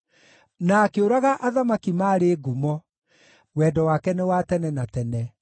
na akĩũraga athamaki maarĩ ngumo: Wendo wake nĩ wa tene na tene.